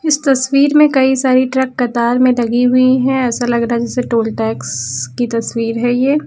इस तस्वीर में कई सारी ट्रक कतार में लगी हुई है ऐसा लग रहा है जैसे टोल टैक्स की तस्वीर है ये।